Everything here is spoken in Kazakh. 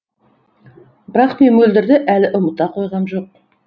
бірақ мен мөлдірді әлі ұмыта қойғам жоқ